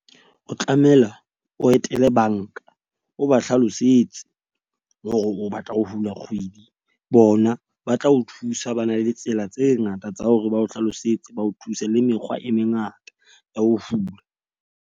O tlamela o etele bank-a o ba hlalosetse hore o batla ho hula kgwedi. Bona ba tla o thusa. Ba na le tsela tse ngata tsa hore ba o hlalosetse ba o thuse le mekgwa e mengata ya ho hula.